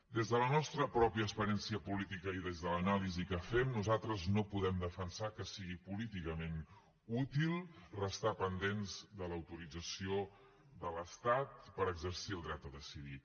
des de la nostra pròpia experiència política i des de l’anàlisi que fem nosaltres no podem defensar que sigui políticament útil restar pendents de l’autorització de l’estat per exercir el dret a decidir